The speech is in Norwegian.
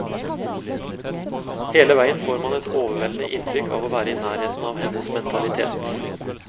Hele veien får man et overveldende inntrykk av å være i nærheten av hennes mentalitet.